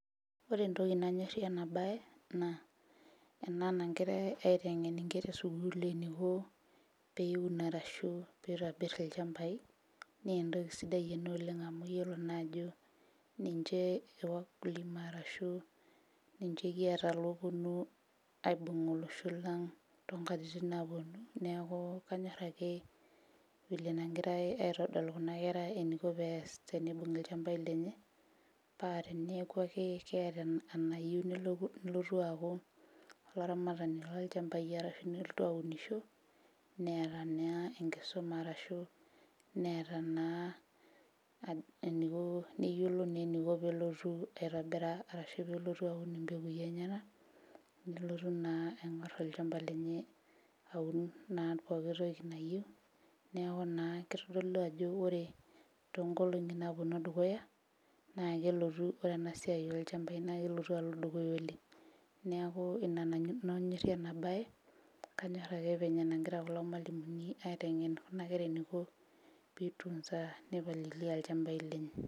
Ore nanyorrie ena baye naa ena nangirae aiteng'en inkera esukuul eniko peun arashu peitobirr ilachambai nentoki sidai ena oleng' amu iyiolo naa ajo ninche e wakulima arashu ninche kiata loponu aibung' olosho lang' tonkatitin naponu neeku kanyorr ake vile enagirae aitodolu kuna kera eninko pees tenibung'i ilchambai lenye paa teneeku ake keeta en enayieu nelotu aaku olaramatani lolchambai arashu nelotu aunisho neeta naa enkisuma arashu neeta naa eniko neyiolo naa eniko pelotu aitobiraa arashu pelotu aun impekui enyenak nelotu naa aing'orr olchamba lenye aun naa poki toki nayieu neeku naa kitodolu ajo ore tonkolong'i naponu dukuya naa kelotu ore ena siai olchambai naa kelotu alo dukuya oleng' neeku ina nanu anyorrie ena baye kanyorr ake venye enagira kulo malimuni aiteng'en kuna kera eniko pi tunza nipalilia ilchambai lenye.